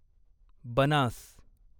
Banas